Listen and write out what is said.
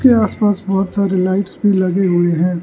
के आस पास बहुत सारे लाइट लगे हुए हैं।